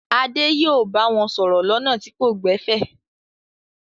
Adé yóò bá wọn sọ̀rọ̀ lọ́nà tí kò gbẹ̀fẹ̀!